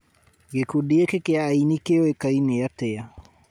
gĩkundi gĩkĩ kia aini kĩoĩkaine atĩa